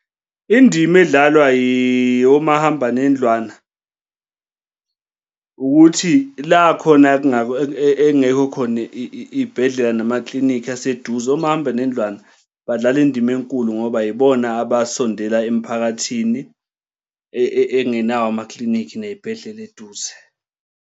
Indima edlalwa omahambanendlwana ukuthi la khona ekungekho khona iy'bhedlela namaklinikhi aseduze, omahambanendlwana badlala indima enkulu ngoba yibona abasondela emphakathini engenawo amaklinikhi ney'bhedlela eduze.